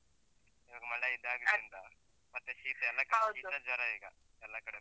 ಈವಾಗ್ ಮಳೆ ಇದಾಗಿದ್ರಿಂದ, ಮತ್ತೆ ಶೀತ ಎಲ್ಲ ಈಗ, ಎಲ್ಲ ಕಡೆ.